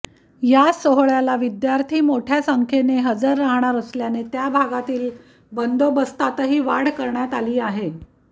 या सोहळ्याला विद्यार्थी मोठया संख्येने हजर राहणार असल्याने त्या भागातील बंदोबस्तातही वाढ करण्यात आली आहे